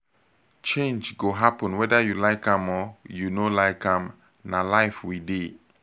change go happen weda you like am or you no like am na life we dey